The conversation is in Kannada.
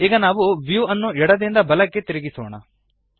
ಈಗ ನಾವು ವ್ಯೂ ಅನ್ನು ಎಡದಿಂದ ಬಲಕ್ಕೆ ತಿರುಗಿಸೋಣ